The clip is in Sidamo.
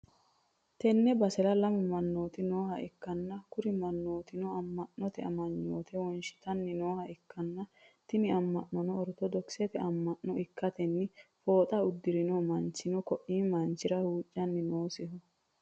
Tenne basera lamu mannooti nooha ikkanna, kuri mannootino amma'note amanyoote wonshitanni nooha ikkanna, tini amma'nono orittodokisete amma'no ikkitanna, fooxa uddirino manchin ko'i manchira huuccanni noosiho.